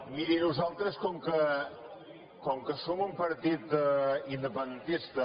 miri nosaltres com que som un partit independentista